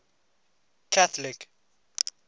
catholic